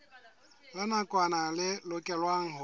la nakwana le lokelwang ho